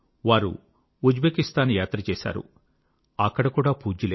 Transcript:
వారు ఉజ్బెకిస్తాన్ యాత్ర చేశారు అక్కడ కూడా పూజ్యులే